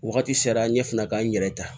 Wagati sera n ɲe fɛnɛ ka n yɛrɛ ta